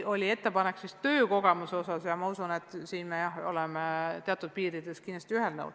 Oli ettepanek töökogemuse saamiseks ja ma usun, et siin me oleme teatud piirides kindlasti ühel nõul.